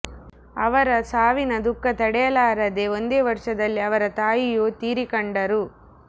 ಅವರ ಸಾವಿನ ದುಃಖ ತಡೆಯಲಾರದೆ ಒಂದೇ ವರ್ಷದಲ್ಲಿ ಅವರ ತಾಯಿಯೂ ತೀರಿಕಂಡರು